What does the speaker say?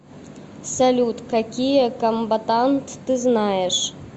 салют какие комбатант ты знаешь